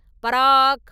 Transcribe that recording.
பராக்!